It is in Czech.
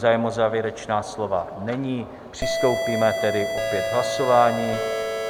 Zájem o závěrečná slova není, přistoupíme tedy opět k hlasování.